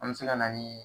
An bɛ se ka na ni